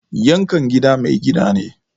Yankan gida mai gida ne.